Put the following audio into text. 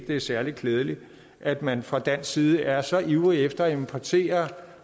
det er særlig klædeligt at man fra dansk side er så ivrig efter at importere